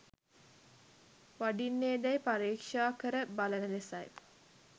වඩින්නේදැයි පරීක්‍ෂා කර බලන ලෙසයි.